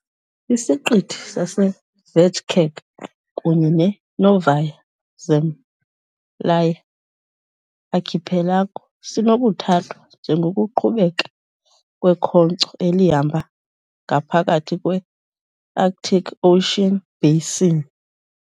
Isiqithi saseVajgač kunye ne- Novaya Zemlya archipelago sinokuthathwa njengokuqhubeka kwekhonkco elihamba ngaphakathi kwe-Arctic Ocean basin.